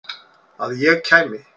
Að ég kæmi?